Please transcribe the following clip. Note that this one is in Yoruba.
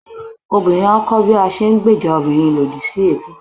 obìrin a kọ bi a se n gbèjà òbirin lodì si ebú